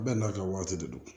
Bɛɛ n'a ka waati de don